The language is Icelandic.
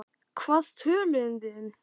Hvað töluðum við um?